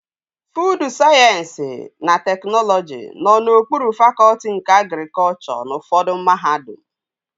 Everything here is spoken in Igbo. Fuud Sayensị na Teknọlọji nọ n'okpuru fakọtị nke agrikọchọ n'ufọdụ mahadum